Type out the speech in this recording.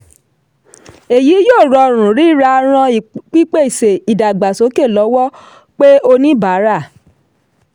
èyí yóò rọrùn rírà ràn pípèsè/ìdàgbàsókè lọ́wọ́ pe oníbàárà.